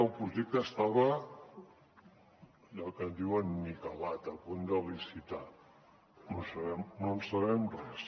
el projecte estava allò que en diuen niquelat a punt de licitar no en sabem res